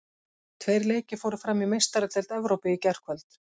Tveir leikir fóru fram í Meistaradeild Evrópu í gærkvöld.